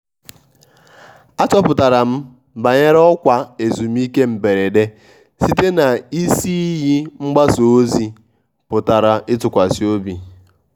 achọpụtara m banyere ọkwa ezumike mberede site na isi iyi mgbasa ozi a pụrụ ịtụkwasị obi.